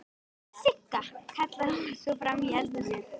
Sigga!, kallaði hún svo fram í eldhúsið.